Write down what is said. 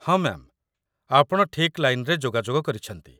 ହଁ, ମ୍ୟା'ମ୍! ଆପଣ ଠିକ୍ ଲାଇନ୍‌ରେ ଯୋଗାଯୋଗ କରିଛନ୍ତି